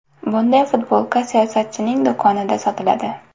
Bunday futbolka siyosatchining do‘konida sotiladi.